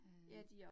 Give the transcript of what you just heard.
Øh